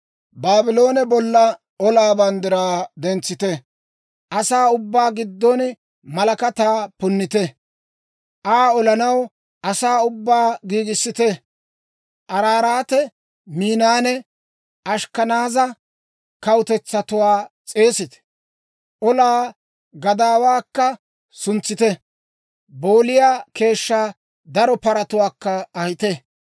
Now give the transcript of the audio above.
«Baabloone bolla olaa banddiraa dentsite; asaa ubbaa giddon malakataa punnite. Aa olanaw asaa ubbaa giigissite; Araaraate, Miinanne Ashkkanaaza kawutetsatuwaa s'eesite. Olaa gadaawaakka suntsite; booliyaa keeshshaa daro paratuwaakka ahite.